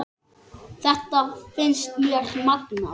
Þetta finnst mér magnað.